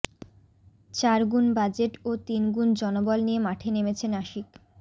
চার গুণ বাজেট ও তিন গুণ জনবল নিয়ে মাঠে নেমেছে নাসিক